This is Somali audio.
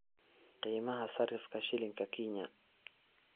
Qiimaha sarifka shilinka Kenya